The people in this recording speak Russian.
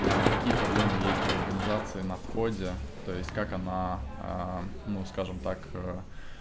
на какие проблемы есть у организации на входе то есть как она ну скажем так